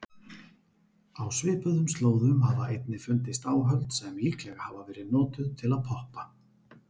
Á svipuðum slóðum hafa einnig fundist áhöld sem líklega hafa verið notuð til að poppa.